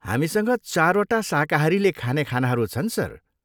हामीसँग चारवटा शाकाहारीले खाने खानाहरू छन्, सर।